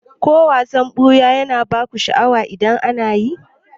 Ko wasan ɓuya na baku sha'awa idan ana yi?